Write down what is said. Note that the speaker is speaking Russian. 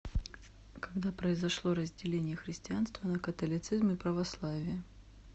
когда произошло разделение христианства на католицизм и православие